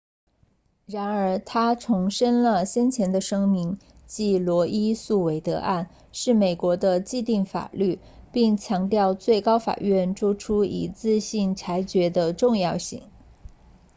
然而他重申了先前的声明即罗伊诉韦德案 roe v wade 是美国的既定法律并强调最高法院作出一致性裁决的重要性